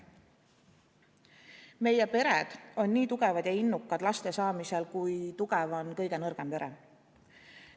Meie pered on nii tugevad ja innukad laste saamisel, kui tugev on kõige nõrgem pere.